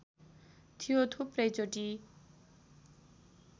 थियो थुप्रै चोटि